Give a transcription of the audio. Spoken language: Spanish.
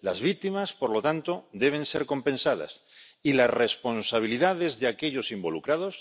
Las víctimas, por lo tanto, deben ser compensadas y las responsabilidades de aquellos involucrados,